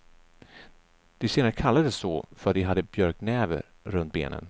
De senare kallades så för att de hade björknäver runt benen.